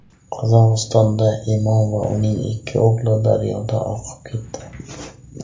Qozog‘istonda imom va uning ikki o‘g‘li daryoda oqib ketdi.